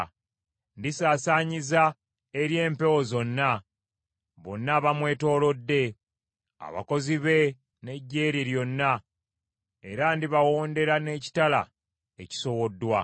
Ndisaasaanyiza eri empewo zonna, bonna abamwetoolodde, abakozi be n’eggye lye lyonna era ndibawondera n’ekitala ekisowoddwa.